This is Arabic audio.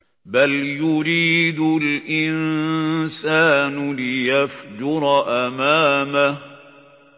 بَلْ يُرِيدُ الْإِنسَانُ لِيَفْجُرَ أَمَامَهُ